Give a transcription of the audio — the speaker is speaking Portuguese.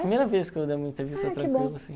Primeira vez que eu uma entrevista tranquila assim